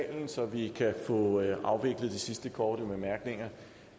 næste uge hvor den